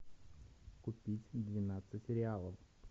купить двенадцать реалов